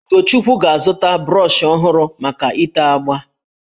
Ugochukwu ga-azụta brọshị ọhụrụ maka itè agbà